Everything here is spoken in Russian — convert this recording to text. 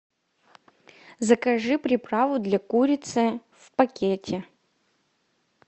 закажи приправу для курицы в пакете